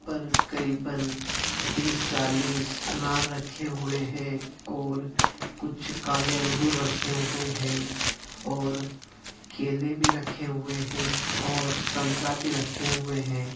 और करीबन पर तीस चालीस अनार रखे हुए है और कुछ काले अंगूर रखे हुए है और केले भी रखे हुए है और संतरा भी रखे हए है।